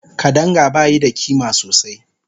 Kadanga bayi da ƙima sosai